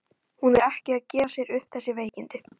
Hún er ekki að gera sér upp þessi veikindi.